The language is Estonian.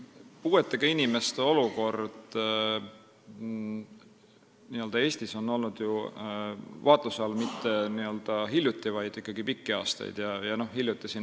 Puuetega inimeste olukord Eestis ei ole ju olnud vaatluse all mitte ainult hiljuti, vaid ikkagi pikki aastaid.